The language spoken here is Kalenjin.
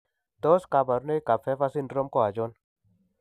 Tos kabarunaik ab PHAVER syndrome ko achon ?